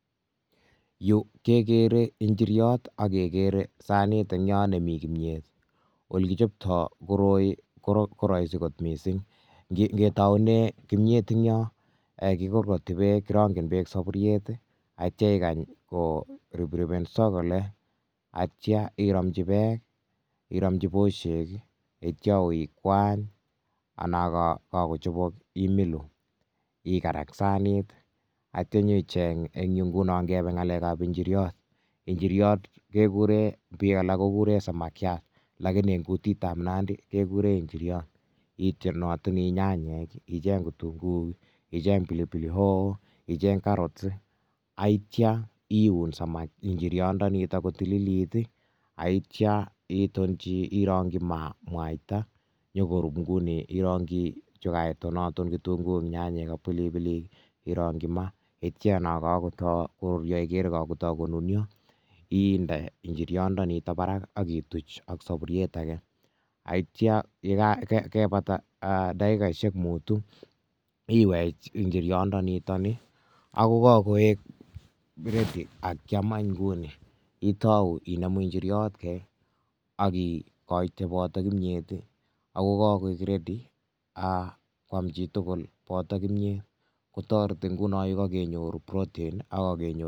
yu kekere njiryat ak kekere sanit ne mi kimiet. ole kichoptoi koroi ko raisi gotmissin. ketaune kimiet ,kikorkoti bekirangini sapuriet ak ikeny koripripenso kole aitya iramji bosek anan ko peek aitya ikwany ak imilu .kebe anyun ole kichoptoi iniiryot bik alak kokuren samakiat lakini ang gutitab nandi kekuren injiryot .itonatini nyanyek, icheng pilipili hoho, inyeng kitunguik ak icheng carrot ak itonaton ak irangi maa ak inde mwaita ye kakotai konunia inde injiryat ak ituch eng sapuriyet age aitya ye kakobata dakikaisiek mutu iwech injiryat kai inemu aki saven ak kimyet